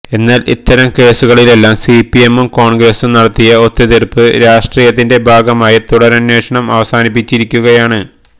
എന്നാല് ഇത്തരം കേസുകളിലെല്ലാം സിപിഎമ്മും കോണ്ഗ്രസും നടത്തിയ ഒത്തുതീര്പ്പ് രാഷ്ട്രീയത്തിന്റെ ഭാഗമായി തുടരന്വേഷണം അവസാനിപ്പിച്ചിരിക്കുകയാണ്